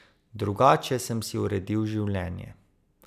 Drugače sem si uredil življenje.